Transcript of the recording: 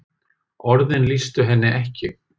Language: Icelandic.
Orðin lýstu henni ekki.